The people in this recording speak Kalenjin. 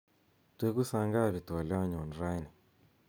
twegu sangapi twolyonyun raini